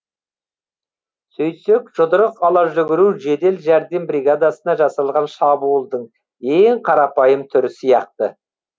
сөйтсек жұдырық ала жүгіру жедел жәрдем бригадасына жасалған шабуылдың ең қарапайым түрі сияқты